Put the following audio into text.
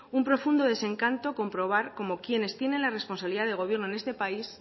un profundo desencanto comprobar cómo quienes tienen la responsabilidad de este país